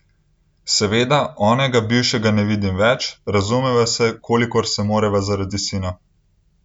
Seveda, onega, bivšega ne vidim več, razumeva se, kolikor se morava zaradi sina.